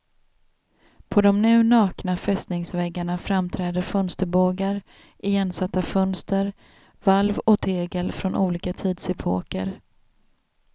På de nu nakna fästningsväggarna framträder fönsterbågar, igensatta fönster, valv och tegel från olika tidsepoker.